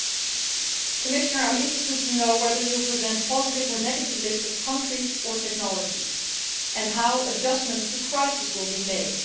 I am interested to know whether the Commissioner will present a positive or negative list of countries or technologies and how adjustments to crisis will be made.